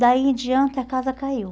Daí em diante, a casa caiu.